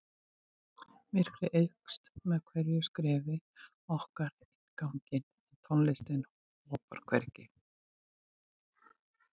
Myrkrið eykst með hverju skrefi okkar inn ganginn en tónlistin hopar hvergi.